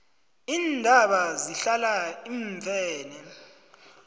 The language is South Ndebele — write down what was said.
iintaba zihlala iimfene